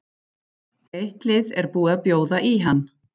Eitt lið er búið að bjóða í hann.